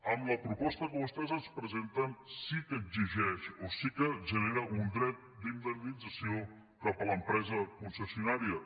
en la proposta que vostès ens presenten sí que exigeix o sí que genera un dret d’indemnització cap a l’empresa concessionària